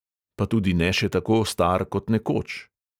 Pa tudi ne še tako star kot nekoč.